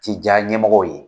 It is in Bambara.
Ti diya ɲɛmɔgɔw ye!